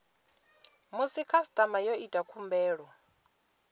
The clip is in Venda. musi khasitama yo ita khumbelo